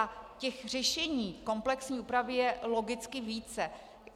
A těch řešení komplexní úpravy je logicky více.